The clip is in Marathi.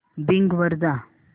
बिंग वर जा